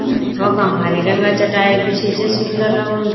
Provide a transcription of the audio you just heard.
वखा हरी रंगा चटाई बिछीं च सुन्दर लगणु --